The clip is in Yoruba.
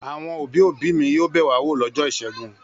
Àwọn òbí-òbí mi yóò bẹ̀ wá wò lọ́jọ́ ìṣẹ́gun.